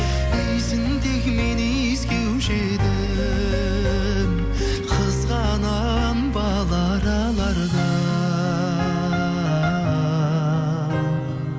иісін тек мен иіскеуші едім қызғанамын бал аралардан